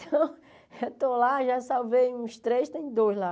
Então, eu estou lá, já salvei uns três, tem dois lá.